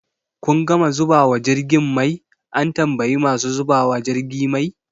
Kun gama zubawa jirgin mai? an tambayi masu zubawa jirgi mai